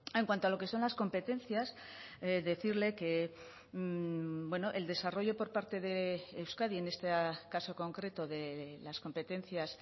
en cuanto a lo que son las competencias decirle que el desarrollo por parte de euskadi en este caso concreto de las competencias